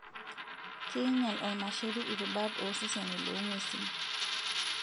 Keinyial ormasheri irubat ooseseni loong'wesin.